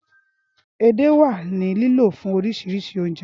Édè wa ni lilo fun sise orisi ounje.